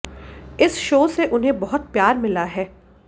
इस शो से उन्हें बहुत प्यार मिला है